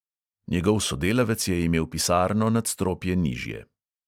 Njegov sodelavec je imel pisarno nadstropje nižje.